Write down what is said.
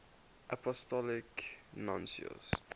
apostolic nuncios